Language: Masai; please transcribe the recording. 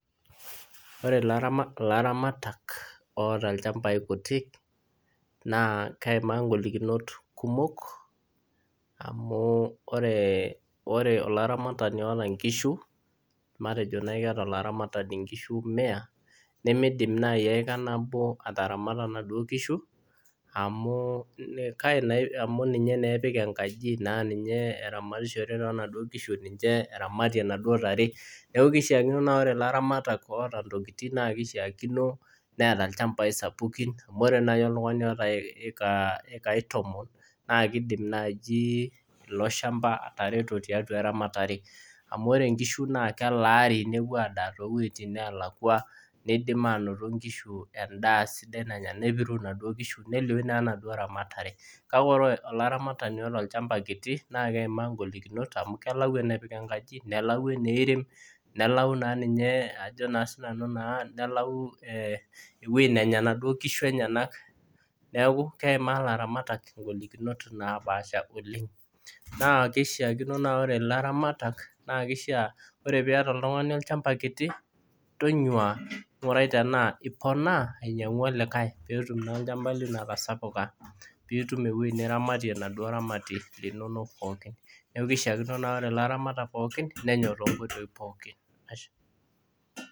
Ore laramatak oota ilchambai kutiik naa keimaaa ing'olikinot kumok amuu ore olaramatani oota inkishu, matejo naa keata laramatani inkishu emia nemeidim nai eka nabo ataramata enaduo kishu amuu ninye naa epiik enkaji, naa ninye eramatishore naa enaduo kishu ninche eramatie enaduo tare, naaku keishaakunio naa ore laramatak oota ntokitin naa keishaakino neata ilchambai sapukin amu iore nai oltungani oota ekai tomon naa keidim naaji iko ilshamba aatareto tiatua ramatare, amu ore inkishu naa kelaari nepuo adaa tewejitin naalakwa neidim anoto nkishu endaa sidai nanya, nepiru enaduo ksihu neilioi naa enaduo ramatare, kake ore olaramatani oota ilchamba kiti naa keimaa ingolikinot amuu kelau enepik inkaji, nelau enerem, nelau naa ninye ajo si nanu naa nelau eweji nenya enaduo kishu enyena, neaku keimaa laramatak ingolikinot napaasha oleng, naa keishaakino naa ore laramatak, naa keisha ore piiyeta oltungani ilshamba kiti, tonyua ingurai tanaa iponaa ainyang'u likae peetum naa ilchamba lino aatasapuka, piitum eweji niramatie enaduo eramati inonok pookin, naaku keishakino naa ore laramatak pookin nenyok too nkoitoi pookin.